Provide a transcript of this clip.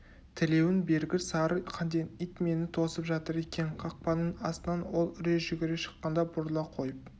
тілеуің бергір сары қанден ит мені тосып жатыр екен қақпаның астынан ол үре жүгіре шыққанда бұрыла қойып